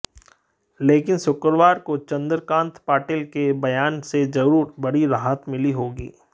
लेकिन शुक्रवार को चंद्रकांत पाटील के बयान से जरूर बड़ी राहत मिली होगी